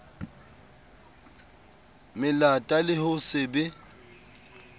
melata le ho se be